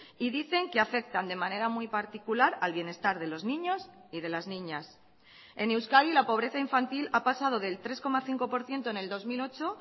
y dicen que afectan de manera muy particular al bienestar de los niños y de las niñas en euskadi la pobreza infantil ha pasado del tres coma cinco por ciento en el dos mil ocho